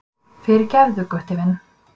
Fyrirgefðu, Gutti minn.